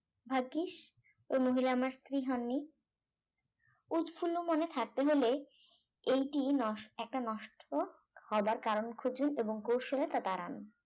ভাগ্যিস ওই মহিলা আমার স্ত্রী হন নি উৎফুল্ল মনে থাকতে হলে এইটি নষ্ট একটি নষ্ট হওয়ার কারণ খুঁজে এবং কৌশলে তা তাড়ান